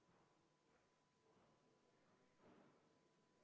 Ma paluks ka seda muudatusettepanekut hääletada ja enne seda kümme minutit vaheaega.